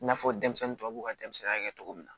I n'a fɔ denmisɛnnin tɔw ka denmisɛnninya kɛ cogo min na